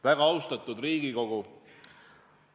Väga austatud Riigikogu!